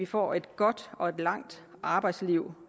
får et godt og et langt arbejdsliv